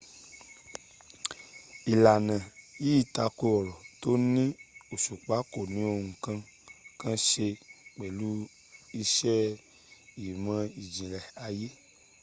ìlànà yìí tako ọ̀rọ̀ tó ní òsùpá kò ní ohun kankan se pẹ̀lú iṣẹ ìmọ̀́ ìjìnlẹ̀ ayé